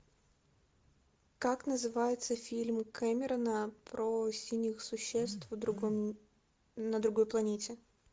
как называется фильм кэмерона про синих существ в другом на другой планете